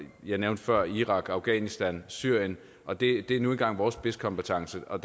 jeg nævnte før irak afghanistan syrien og det er nu engang vores spidskompetence og